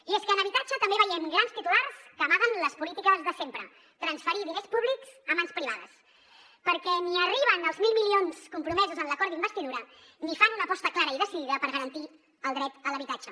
i és que en habitatge també veiem grans titulars que amaguen les polítiques de sempre transferir diners públics a mans privades perquè ni arriben els mil milions compromesos en l’acord d’investidura ni fan una aposta clara i decidida per garantir el dret a l’habitatge